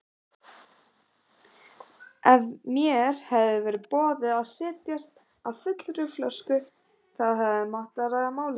Ef mér hefði verið boðið að setjast að fullri flösku hefði mátt ræða málið.